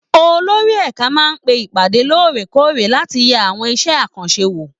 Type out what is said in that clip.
Olórí ẹ̀ka máa ń pe ìpàdé lóòrè kóòrè láti yẹ àwọn iṣẹ́ àkànṣe wò